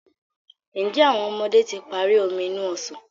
Njé àwọn ọmọdé tí parí Omi inú ọsàn?